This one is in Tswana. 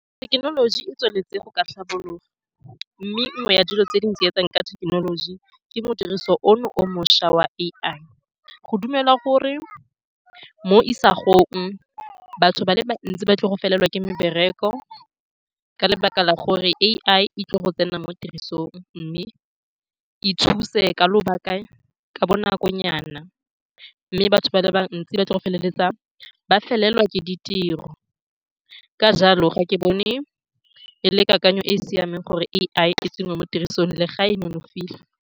Thekenoloji e tsweletse go ka tlhabologa, mme nngwe ya dilo tse di ntsietsang ka thekenoloji ke modirisi ono o mošwa wa A_I. Go dumelwa gore mo isagong batho ba le bantsi ba tlile go felelwa ke mebereko ka lebaka la gore A_I e tlile go tsena mo tirisong mme e thuse ka ka bonakonyana, mme batho ba le bantsi ba tlile go feleletsa ba felelwa ke ditiro. Ka jalo, ga ke bone e le kakanyo e e siameng gore A_I e tsenngwe mo tirisong, le fa e nonofile.